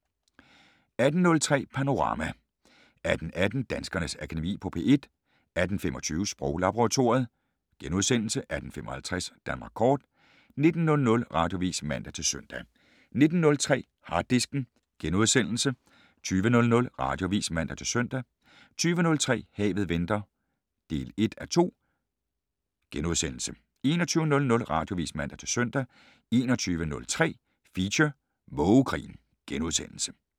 18:03: Panorama 18:18: Danskernes Akademi på P1 18:25: Sproglaboratoriet * 18:55: Danmark kort 19:00: Radioavis (man-søn) 19:03: Harddisken * 20:00: Radioavis (man-søn) 20:03: Havet venter (1:2)* 21:00: Radioavis (man-søn) 21:03: Feature: Mågekrigen *